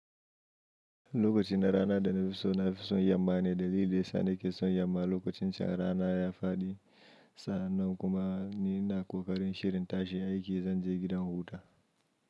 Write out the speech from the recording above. Lokacin da rana da na fi so na fi son yamma ne da lile, sanda ke son yamma lokacin can rana ya faɗi sannan kuma ni ina kokarin shirin ta shi aiki zan je gidan huta.